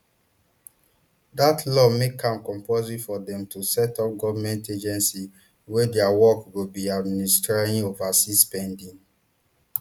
dat law make am compulsory for dem to set up government agency wey dia work go be administering overseas spending